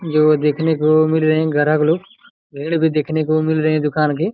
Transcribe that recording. ये वो देखने को मिल रहे गराग लोग पेड़ भी देखने को मिल रहे दूकान के--